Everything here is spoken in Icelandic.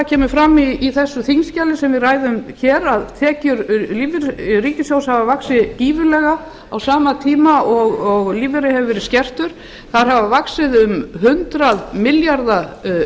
kemur fram í því þingskjali sem við ræðum nú að tekjur ríkissjóðs hafa vaxið gífurlega á sama tíma og lífeyrir hefur verið skertur tekjur ríkissjóðs að raungildi hafa vaxið um hundrað milljarða